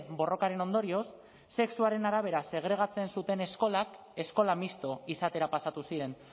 borrokaren ondorioz sexuaren arabera segregatzen zuten eskolak eskola misto izatera pasatu ziren